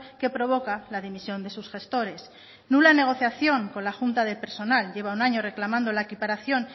que provoca la dimisión de sus gestores nula negociación con la junta de persona lleva un año reclamando la equiparación